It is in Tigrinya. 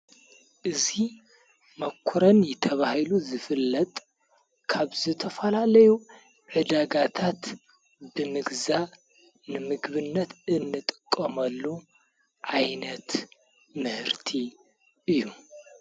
እዙ መኰረን ተባሂሉ ዝፍለጥ ካብ ዝተፈላለዩ ዕዳጋታት ብምግዛ ንምግብነት እንጥቆመሉ ኣይነት ምህርቲ እዩ::